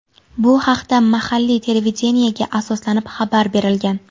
Bu haqda mahalliy televideniyega asoslanib xabar berilgan.